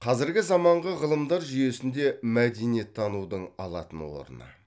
қазіргі заманғы ғылымдар жүйесінде мәдениеттанудың алатын орны